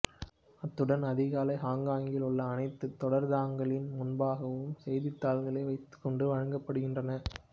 அத்துடன் அதிகாலை ஹொங்கொங்கில் உள்ள அனைத்து தொடருந்தகங்களின் முன்பாகவும் செய்தித்தாள்களை வைத்துக்கொண்டு வழங்கப்படுகின்றது